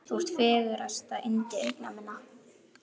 Þú ert fegursta yndi augna minna.